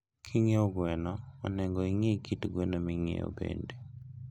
Kinyie gweno, onego ingii kit gweno minyie bende